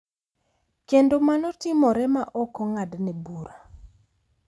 Kendo mano timore ma ok ong’adne bura, .